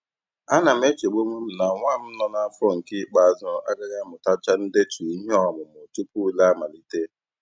Ana m echegbu onwe m na nwa m nọ n'afọ nke ikpeazụ agaghị amutacha ndetu ihe ọmụmụ tupu ule amalite.